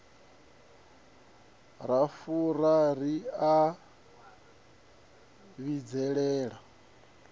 ra fura ri a vhidzelela